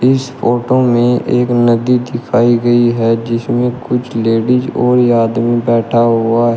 इस फोटो में एक नदी दिखाई गई है जिसमें कुछ लेडीज और ये आदमी बैठा हुआ है।